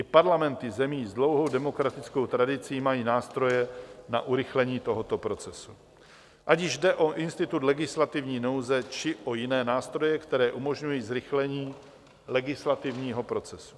I parlamenty zemí s dlouhou demokratickou tradicí mají nástroje na urychlení tohoto procesu, ať již jde o institut legislativní nouze, či o jiné nástroje, které umožňují zrychlení legislativního procesu.